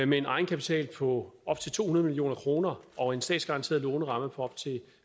med en egenkapital på op til to hundrede million kroner og en statsgaranteret låneramme på op til